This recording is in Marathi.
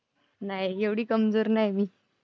नाही, एवढी कमजोर नाही मी.